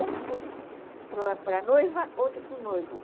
Um para noiva, outro para noivo.